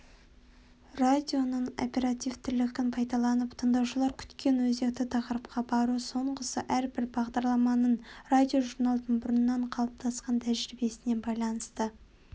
радионың оперативтілігін пайдаланып тыңдаушылар күткен өзекті тақырыпқа бару соңғысы әрбір бағдарламаның радиожурналдың бұрыннан қалыптасқан тәжірибесіне байланысты